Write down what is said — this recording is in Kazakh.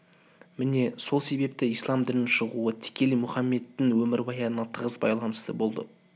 міне сол себепті ислам дінінің шығуы тікелей мұхаммедтің өмірбаянына тығыз байланысты болды